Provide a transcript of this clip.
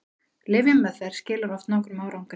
lyfjameðferð skilar oft nokkrum árangri